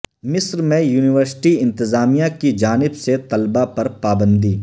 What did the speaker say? مصر میں یونیورسٹی انتظامیہ کیجانب سے طلباء پر پابندی